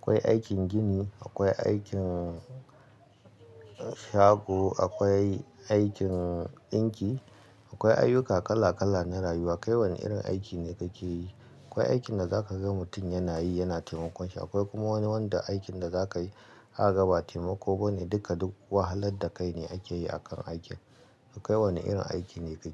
Akwai aikin gini, akwai aikin shago, akwai aikin ɗinki, akwai ayyuka kala kala na rayuwa. Kai wane irin aiki ne kake yi? Akwai aikin da zaka ga mutum yana yi, yana taimakonshi, akwai kuma wani wanda aikin da zakayi aka gabatar wa taimako bane, duka duk wahalar da kai ne ake yi akan aikin. Kai wane irin aiki ne kake yi?